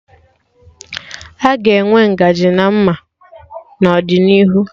Aga enwe ngaji ka ma mma n'ọdịnihu